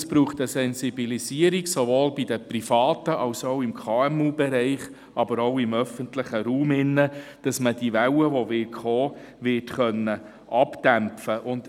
Es braucht eine Sensibilisierung – sowohl bei den Privaten als auch im KMU-Bereich, aber auch im öffentlichen Raum, damit man die Welle, die kommen wird, abdämpfen kann.